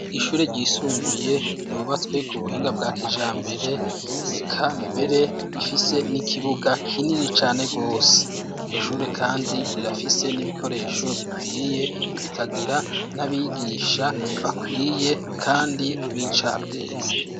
Ishure ryisumbuye yubatswe ku buhinga bwa kijambere eka mbere ifise n'ikibuga kinini cane gose iryo shure kandi rirafise n'ibikoresho bikwiye ikagira n'abigisha bakwiye kandi b'incabwenge.